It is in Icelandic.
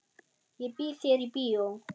Ég býð þér í bíó.